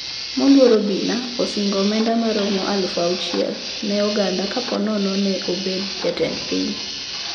Moluor obina osingo omenda maromo alufu auchiel ne oganda kaponono ne obedo jatend piny